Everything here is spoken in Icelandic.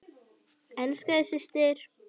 Elska þig, systir.